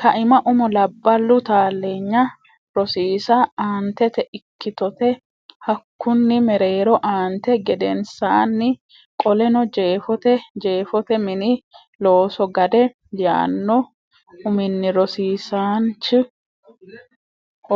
kaima Umo labballu taalleenya rosiisa Aantete Ikkitote Hakkunni Mereero aante gedensaanni Qoleno Jeefote Jeefote Mini Looso Gade yaanno uminni rosiisaanchi